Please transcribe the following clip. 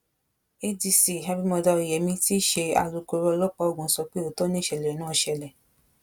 adc abimodá oyeyèmí tí í ṣe alūkkoro ọlọ́pàá ògùn sọ pé òótọ́ nìṣẹ̀lẹ̀ náà ṣẹlẹ̀